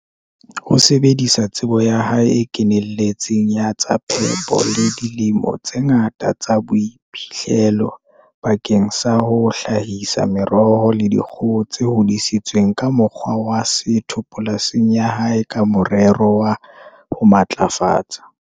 O sebedisa tsebo ya hae e kenelletseng ya tsa phepo le dilemo tse ngata tsa boiphihlelo bakeng sa ho hla hisa meroho le dikgoho tse hodisitsweng ka mokgwa wa setho polasing ya hae ka morero wa ho matlafatsa.